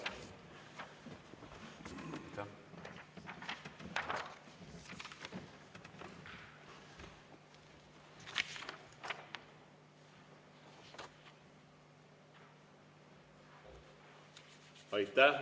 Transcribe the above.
Aitäh!